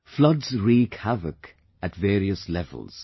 Floods wreak havoc at various levels